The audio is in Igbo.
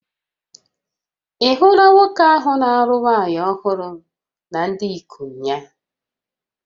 Ị̀ hụla nwoke ahụ na-alụ nwaanyị ọhụrụ na ndị ikom ya?